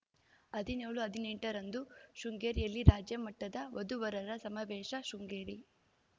ಹದಿನ್ಯೋಳು ಹದಿನೆಂಟ ರಂದು ಶೃಂಗೇರಿಯಲ್ಲಿ ರಾಜ್ಯಮಟ್ಟದ ವಧುವರರ ಸಮಾವೇಶ ಶೃಂಗೇರಿ